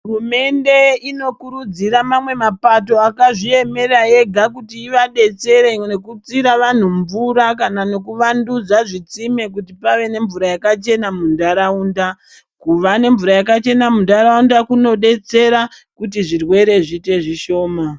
Hurumende inokurudzira mamwe mapato akazviemera ega kuti ivadetsere ngekutsira vanhu mvura kana nokuvandudza zvitsime kuti vave nemvura yakachena munharaunda. Kuva nemvura yakachena mundaraunda kunodetsera kuti zvirwere zviite zvishoma.